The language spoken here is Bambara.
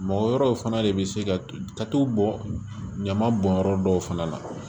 Mɔgɔ wɛrɛw fana de bɛ se ka tatow bɔ ɲaman bɔnyɔrɔ dɔw fana na